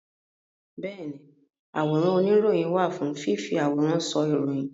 Bẹ́ẹ̀ni àwòrán oníròyìn wà fún fífi àwòrán sọ ìròyìn